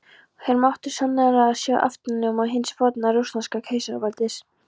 Hér mátti sannarlega sjá aftanljóma hins forna rússneska keisaraveldis!